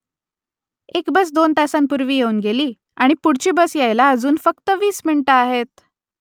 एक बस दोन तासांपूर्वी येऊन गेली आणि पुढची बस यायला अजून फक्त वीस मिनिटं आहेत